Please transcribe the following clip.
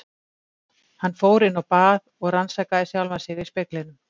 Hann fór inn á bað og rannsakaði sjálfan sig í speglinum.